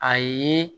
A ye